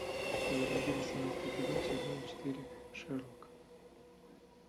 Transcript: заводи восемнадцатый эпизод сезона четыре шерлок